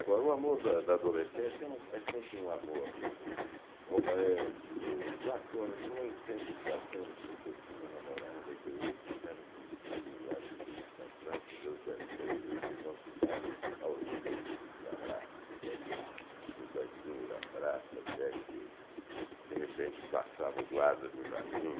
Agora, o amor da da adolescência é sempre um amor romântico, platônico, nem sempre platônico, porque eu tinha uma namorada que eu ia para o jardinzinho lá de Lins, para a Praça das Bandeiras, e nós ficávamos aos beijos e abraços ali no banquinho da praça, até que, de repente, passava o guarda do jardim,